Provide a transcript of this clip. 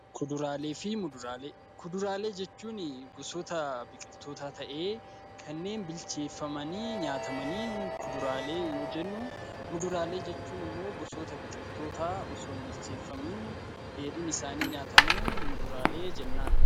Kuduraalee jechuun gosoota biqiltootaa ta'ee kanneen bilcheeffamanii nyaatamaniin kuduraalee yoo jennu, muduraalee jechuun immoo gosoota biqiltootaa osoo hin bilcheeffamiin dheedhiin isaanii nyaatamuun muduraalee jennaan.